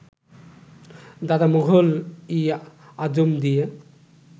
দাদা মোগল ই আযম দিয়ে